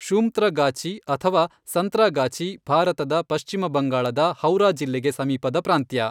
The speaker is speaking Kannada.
ಶೂಂತ್ರಾಗಾಚಿ, ಅಥವಾ ಸಂತ್ರಾಗಾಚಿ, ಭಾರತದ ಪಶ್ಚಿಮ ಬಂಗಾಳದ ಹೌರಾ ಜಿಲ್ಲೆಗೆ ಸಮೀಪದ ಪ್ರಾಂತ್ಯ.